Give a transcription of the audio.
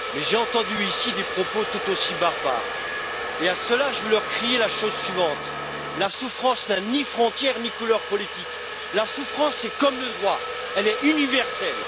Mais j'ai entendu, ici, des propos tout aussi barbares, et à ceux là je veux leur crier la chose suivante la souffrance n'a ni frontière ni couleur politique. La souffrance est comme le droit, elle est universelle.